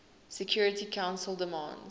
security council demands